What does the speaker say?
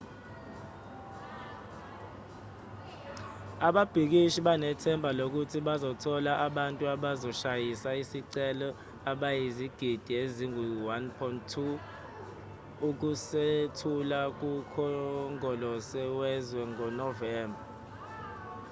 ababhikishi banethemba lokuthi bazothola abantu abazosayina isicelo abayizigidi ezingu-1.2 ukusethula kukhongolose wezwe ngonovemba